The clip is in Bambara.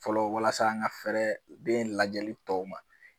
fɔlɔ walasa an ka fɛɛrɛ den lajɛli tɔw ma.